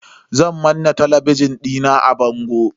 Zan manna talabijin dina a bango.